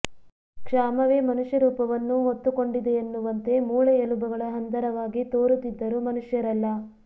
ಕ್ಷಾಮವೇ ಮನುಷ್ಯ ರೂಪವನ್ನು ಹೊತ್ತುಕೊಂಡಿದೆಯೆನ್ನುವಂತೆ ಮೂಳೆ ಎಲುಬುಗಳ ಹಂದರವಾಗಿ ತೋರುತ್ತಿದ್ದರು ಮನುಷ್ಯರೆಲ್ಲ